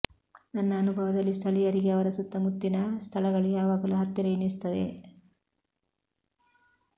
ನನ್ನ ಅನುಭವದಲ್ಲಿ ಸ್ಥಳೀಯರಿಗೆ ಅವರ ಸುತ್ತಮುತ್ತಿನ ಸ್ಥಳಗಳು ಯಾವಾಗಲೂ ಹತ್ತಿರ ಎನಿಸುತ್ತವೆ